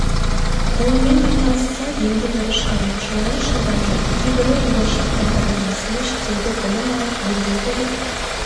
ғылыммен айналысса енді бірі шығармашылығын шыңдап жүр кейбірі болашақ бағдарламасымен шетелде білім алып елге келіп